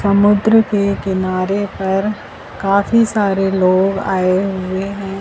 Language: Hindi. समुद्र के किनारे पर काफी सारे लोग आए हुए हैं।